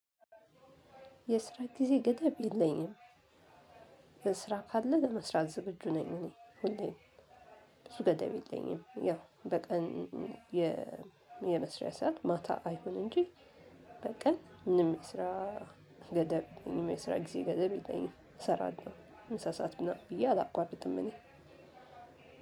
የስራ ጊዜ ገደብ የለኝም። ስራ ካለ ለመስራት ዝግጁ ነኝ እኔ ሁሌ ሁሌም ብዙ ገደብ የለኝም ያው በቀን የመስሪያ ሰዓት ማታ አይሆን እንጂ በቀን ምንም የስራ ገደብ ምንም የስራ ጊዜ ገደብ ይለኝም። እሰራለሁ ምሳ ስዓት ምናምን ብዬ አላቋምጥም እኔ